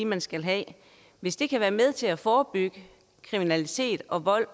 man skal have det hvis det kan være med til at forebygge kriminalitet vold